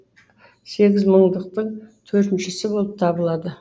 сегіз мыңдықтың төртіншісі болып табылады